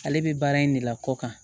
Ale bɛ baara in de la kɔ kan